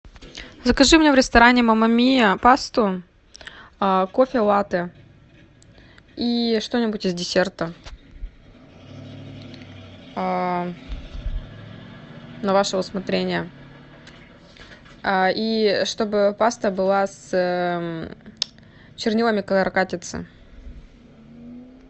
закажи мне в ресторане мама миа пасту кофе латте и что нибудь из десерта на ваше усмотрение и чтобы паста была с чернилами каракатицы